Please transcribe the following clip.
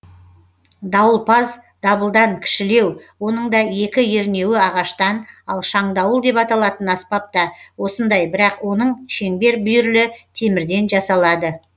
дауылпаз дабылдан кішілеу оның да екі ернеуі ағаштан ал шаңдауыл деп аталатын аспап та осындай бірақ оның шеңбер бүйірлі темірден жасалады